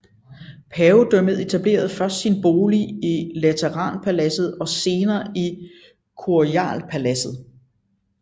Pavedømmet etablerede først sin bolig i Lateranpaladset og senere i Quirinalpaladset